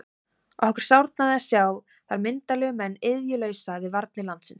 Okkur sárnaði að sjá þar myndarlega menn iðjulausa við varnir landsins.